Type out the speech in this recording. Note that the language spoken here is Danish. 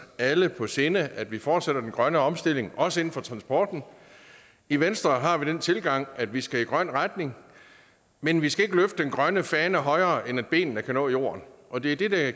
alle på sinde altså at vi fortsætter den grønne omstilling også inden for transporten i venstre har vi den tilgang at vi skal i en grøn retning men vi skal ikke løfte den grønne fane højere end at benene kan nå jorden og det er det det